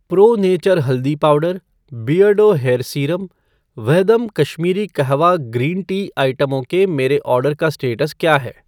pro nature haldi powder , Beardo hair serum , Vahdam Kashmiri kahwa green tea आइटमों के मेरे ऑर्डर का स्टेटस क्या है